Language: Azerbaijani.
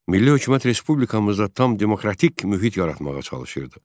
Milli hökumət Respublikamızda tam demokratik mühit yaratmağa çalışırdı.